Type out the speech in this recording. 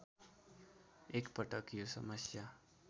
एकपटक यो समस्या